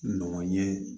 Nɔgɔ ye